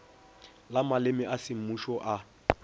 la maleme a semmušo a